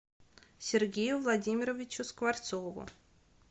сергею владимировичу скворцову